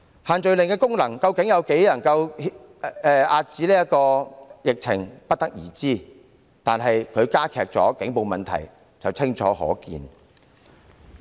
限聚令究竟在多大程度上能遏止疫情，我們不得而知，但它加劇警暴問題卻清楚可見。